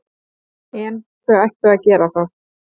En þau ættu að gera það.